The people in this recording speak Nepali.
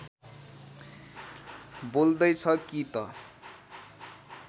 बोल्दैछ कि त